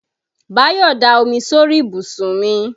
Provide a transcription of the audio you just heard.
Báyọ̀ da omi sórí ìbùsùn mi.